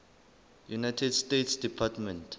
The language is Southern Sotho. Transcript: united states department